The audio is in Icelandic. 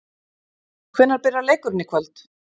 Hvenær byrjar leikurinn í kvöld?